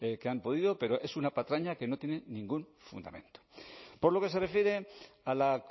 que han podido pero es una patraña que no tiene ningún fundamento por lo que se refiere a la